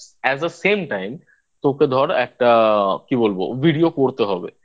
As A Same Time তোকে ধর একটা কি বলবো Video করতে হবে